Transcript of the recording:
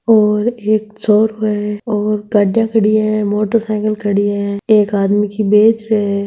और एक छोरो है और गाड़ियां खड़ी हैं मोटरसाइकिल खड़ी है एक आदमी की बेच रो है।